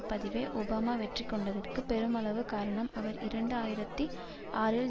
பதவியை ஒபாமா வெற்றி கொண்டதற்கு பெருமளவு காரணம் அவர் இரண்டு ஆயிரத்தி ஆறில்